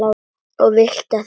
Og vilt hvað?